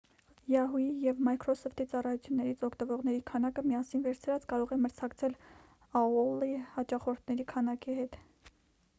yahoo!-ի և microsoft-ի ծառայություններից օգտվողերի քանակը՝ միասին վերցրած կարող է մրցակցել aol-ի հաճախորդների քանակի հետ: